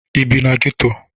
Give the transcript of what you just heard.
Ị bi na geto?